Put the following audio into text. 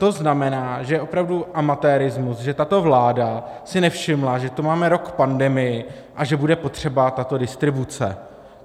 To znamená, že je opravdu amatérismus, že tato vláda si nevšimla, že tu máme rok pandemii a že bude potřeba tato distribuce.